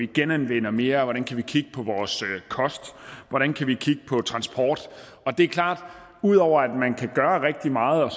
genanvender mere hvordan kan vi kigge på vores kost hvordan kan vi kigge på transporten det er klart at der ud over at man kan gøre rigtig meget og